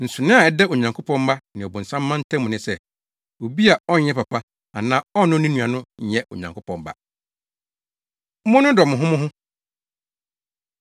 Nsonoe a ɛda Onyankopɔn mma ne ɔbonsam mma ntam ne sɛ, obi a ɔnyɛ papa anaa ɔnnɔ ne nua no nyɛ Onyankopɔn ba. Monnodɔ Mo Ho Mo Ho